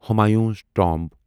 Humayun's tomb